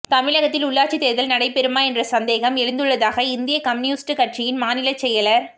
தமிழகத்தில் உள்ளாட்சித் தோ்தல் நடைபெறுமா என்ற சந்தேகம் எழுந்துள்ளதாக இந்திய கம்யூனிஸ்ட் கட்சியின் மாநிலச் செயலா்